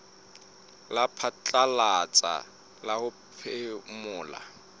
la phatlalatsa la ho phomola